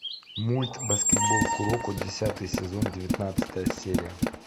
мульт баскетбол куроко десятый сезон девятнадцатая серия